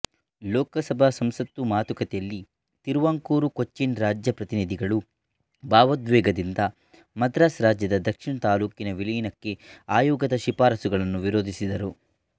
ಲೋಕಸಭಾ ಸಂಸತ್ತು ಮಾತುಕತೆಯಲ್ಲಿ ತಿರುವಾಂಕೂರುಕೊಚ್ಚಿನ್ ರಾಜ್ಯ ಪ್ರತಿನಿಧಿಗಳು ಭಾವೋದ್ವೇಗದಿಂದ ಮದ್ರಾಸ್ ರಾಜ್ಯದ ದಕ್ಷಿಣ ತಾಲ್ಲೂಕಿನ ವಿಲೀನಕ್ಕೆ ಆಯೋಗದ ಶಿಫಾರಸುಗಳನ್ನು ವಿರೋಧಿಸಿದರು